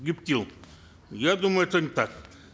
гептил я думаю это не так